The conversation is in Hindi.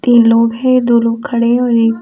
तीन लोग हैं दो लोग खड़े हैं और एक --